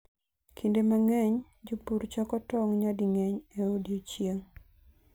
Kinde mang'eny, jopur choko tong' nyading'eny e odiechieng'.